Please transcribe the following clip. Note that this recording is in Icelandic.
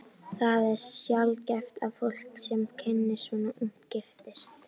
Það er sjaldgæft að fólk, sem kynnist svona ungt, giftist.